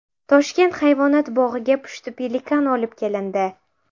Toshkent hayvonot bog‘iga pushti pelikan olib kelindi.